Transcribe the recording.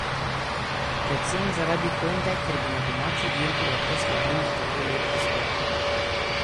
Predvsem zaradi Honde, ker bi na domači dirki lahko slavili tak lep uspeh.